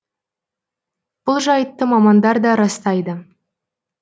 бұл жайтты мамандар да растайды